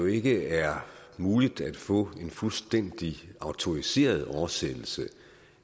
ikke er muligt at få en fuldstændig autoriseret oversættelse